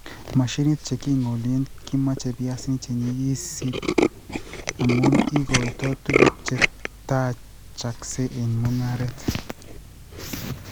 Mashinik che king'olie kimache piasinik che nyigisit amu igoitoi tuguuk che taachaksei eng' mung'aaret